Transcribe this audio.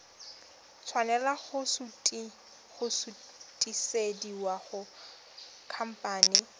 tshwanela go sutisediwa go khamphane